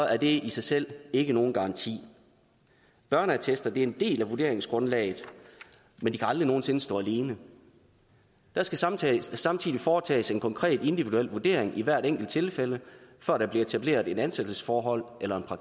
er det i sig selv ikke nogen garanti børneattester er en del af vurderingsgrundlaget men de kan aldrig nogen sinde stå alene der skal samtidig skal samtidig foretages en konkret individuel vurdering i hvert enkelt tilfælde før der bliver etableret et ansættelsesforhold eller